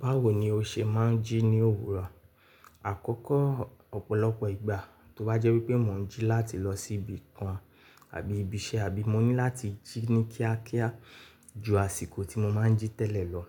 Báwo ni o ṣe máa ń jí ní òwúrọ̀? Àkọ́kọ́, ọ̀pọ̀lọpọ̀ ìgbà tó bá jẹ́ wípé mò ń jí láti lọ sí ibi kan àbí ibi iṣẹ́, àbí mo ní láti jí ní kíákíá ju àsìkò tí mo máa ń jí tẹ́lẹ̀ lọ,